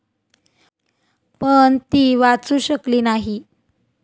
पण ती वाचू शकली नाही.